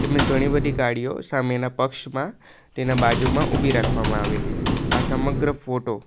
ઘણી બધી ગાડીઓ સામેના પક્ષમાં તેના બાજુમાં ઊભી રાખવામાં આવેલી છે આ સમગ્ર ફોટો --